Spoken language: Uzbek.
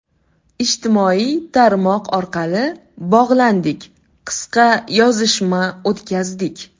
Ijtimoiy tarmoq orqali bog‘landik, qisqa yozishma o‘tkazdik”.